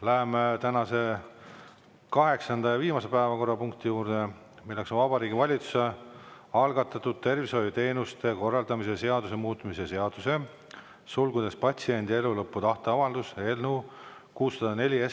Läheme tänase kaheksanda ja viimase päevakorrapunkti juurde, milleks on Vabariigi Valitsuse algatatud tervishoiuteenuste korraldamise seaduse muutmise seaduse eelnõu 604.